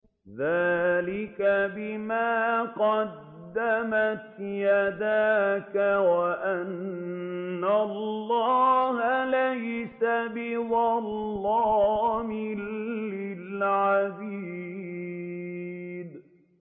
ذَٰلِكَ بِمَا قَدَّمَتْ يَدَاكَ وَأَنَّ اللَّهَ لَيْسَ بِظَلَّامٍ لِّلْعَبِيدِ